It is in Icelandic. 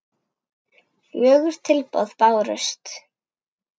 Fjögur tilboð bárust.